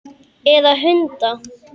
Eða hunda?